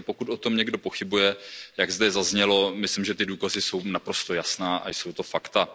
Takže pokud o tom někdo pochybuje, jak zde zaznělo, myslím, že ty důkazy jsou naprosto jasné a jsou to fakta.